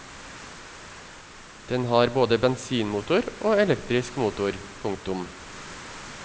Den har både bensinmotor og elektrisk motor. punktum